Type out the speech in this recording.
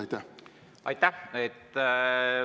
Aitäh!